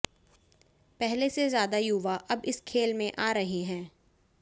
पहले से ज्यादा युवा अब इस खेल में आ रहे हैं